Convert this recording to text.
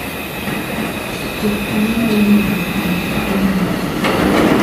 Puodho cham nyalo medo nyago chiemo e gwenge